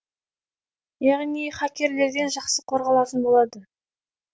яғни хакерлерден жақсы қорғалатын болады